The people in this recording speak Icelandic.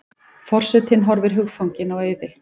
Forsetinn horfir hugfanginn á Auði.